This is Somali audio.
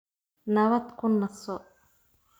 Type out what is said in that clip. Nabad ku naso